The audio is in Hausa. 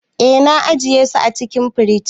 Eh, na ajiye su a cikin firij.